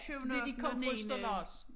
Syvende ottende og niende